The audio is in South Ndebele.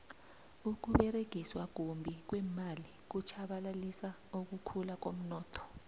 ukuberegiswa kumbi kweemali kutjhabalalisa ukukhula komnotho